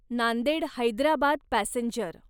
Nanded Hyderabad passenger